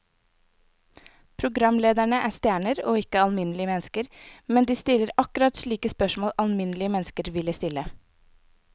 Programlederne er stjerner og ikke alminnelige mennesker, men de stiller akkurat slike spørsmål alminnelige mennesker ville stille.